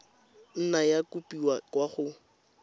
nna ya kopiwa kwa go